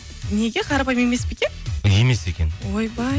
неге қарапайым емес пе екен емес екен ойбай